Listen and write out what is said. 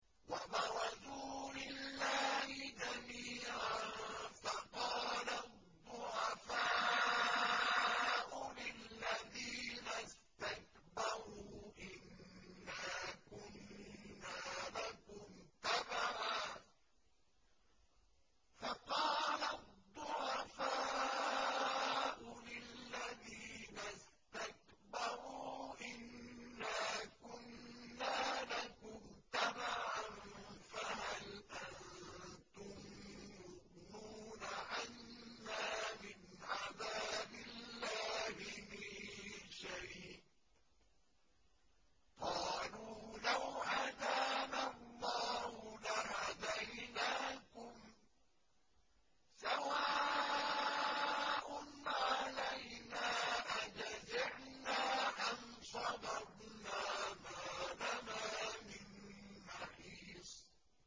وَبَرَزُوا لِلَّهِ جَمِيعًا فَقَالَ الضُّعَفَاءُ لِلَّذِينَ اسْتَكْبَرُوا إِنَّا كُنَّا لَكُمْ تَبَعًا فَهَلْ أَنتُم مُّغْنُونَ عَنَّا مِنْ عَذَابِ اللَّهِ مِن شَيْءٍ ۚ قَالُوا لَوْ هَدَانَا اللَّهُ لَهَدَيْنَاكُمْ ۖ سَوَاءٌ عَلَيْنَا أَجَزِعْنَا أَمْ صَبَرْنَا مَا لَنَا مِن مَّحِيصٍ